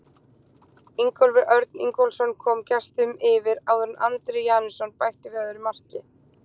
Ingólfur Örn Ingólfsson kom gestunum yfir áður en Andri Janusson bætti við öðru marki.